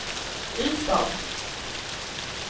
Ystad